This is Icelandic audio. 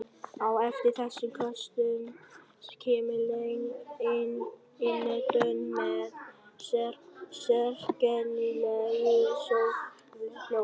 Á eftir þessum köstum kemur löng innöndun með sérkennilegu soghljóði.